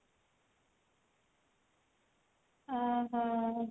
ଓଃ ହୋ